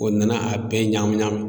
O nana a bɛɛ ɲagamin ɲagamin.